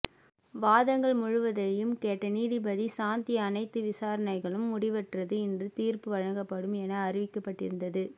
வாதங்கள் முழுவதையும் கேட்ட நீதிபதி சாந்தி அனைத்து விசாரணைகளும் முடிவுற்றது இன்று தீர்ப்பு வழங்கப்படும் என அறிவிக்கப்பட்டிருந்தது